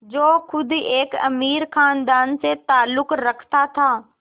जो ख़ुद एक अमीर ख़ानदान से ताल्लुक़ रखता था